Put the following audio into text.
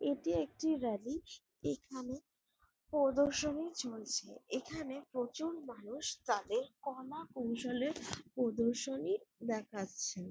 এটি একটি র‍্যালি এখানে প্রদর্শনী চলছে এখানে প্রচুর মানুষ তাদের কলাকৌশলের প্রদর্শনী দেখাচ্ছেন ।